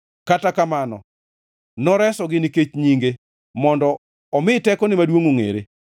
Kata kamano noresogi nikech nyinge, mondo omi tekone maduongʼ ongʼere.